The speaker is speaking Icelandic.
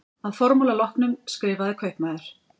Að formála loknum skrifaði kaupmaður